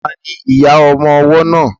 Ta ni ìyá ọmọ ọwọ́ náà?